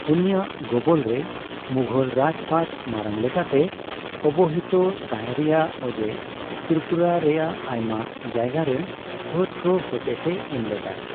ᱩᱱᱤᱭᱟᱜ ᱜᱚᱵᱚᱞ ᱨᱮ ᱢᱩᱜᱷᱚᱞ ᱨᱟᱡᱽᱯᱟᱴ ᱢᱟᱨᱟᱝ ᱞᱮᱠᱟᱛᱮ ᱚᱵᱚᱦᱤᱛᱚ ᱛᱟᱸᱦᱮ ᱨᱮᱭᱟᱜ ᱚᱡᱮ ᱛᱤᱨᱤᱯᱩᱨᱟ ᱨᱮᱭᱟᱜ ᱟᱭᱢᱟ ᱡᱟᱭᱜᱟᱨᱮᱱ ᱯᱷᱟᱹᱫ ᱠᱚ ᱦᱚᱛᱮᱛᱮ ᱮᱢᱞᱮᱫᱟᱭᱟ ᱾